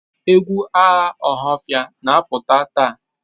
Egwu agha Ohafia na-apụta taa?